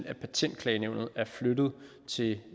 at patentklagenævnet er flyttet til